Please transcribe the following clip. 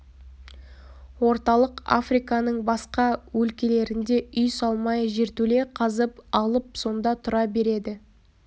орталық африканың басқа өлкелерінде үй салмай жертөле қазып алып сонда тұра береді